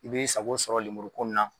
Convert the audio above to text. I b'i sago sɔrɔ lemuru ko in na.